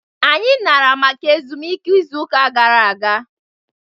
Anyị nara maka ezumike izu ụka gara aga.